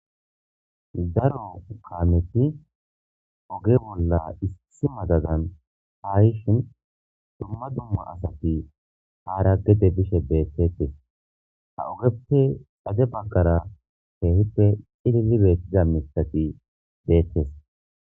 Daro kaameti oge bolla issi madadan ha yishin dumma dumma asati aara gede bishe beetettes ha ogepe xade baggara keehippe cilili beetiza miththati detees.